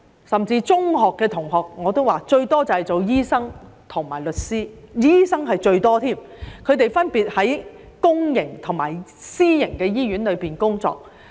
我的中學同學很多當了醫生和律師，當醫生的最多，他們分別在公營和私營醫院工作。